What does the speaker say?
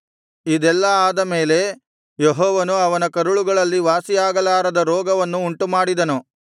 ಇದೆಲ್ಲಾ ಆದಮೇಲೆ ಯೆಹೋವನು ಅವನ ಕರುಳುಗಳಲ್ಲಿ ವಾಸಿಯಾಗಲಾರದ ರೋಗವನ್ನು ಉಂಟುಮಾಡಿದನು